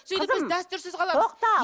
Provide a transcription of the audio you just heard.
сөйтіп біз дәстүрсіз қаламыз тоқта